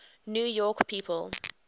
new york people